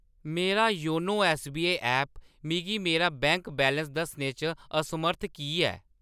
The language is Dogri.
मेरा योनो ऐस्सबीआई ऐप मिगी मेरा बैंक बैलेंस दस्सने च असमर्थ की ऐ ?